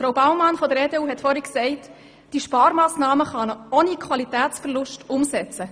Grossrätin Baumann von der EDU hat gesagt, man könne diese Sparmassnahme ohne Qualitätsverlust umsetzen.